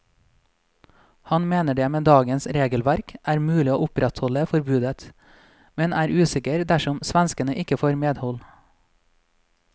Han mener det med dagens regelverk er mulig å opprettholde forbudet, men er mer usikker dersom svenskene ikke får medhold.